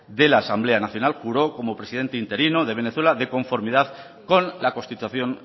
de la asamblea nacional juró como presidente interino de venezuela de conformidad con la constitución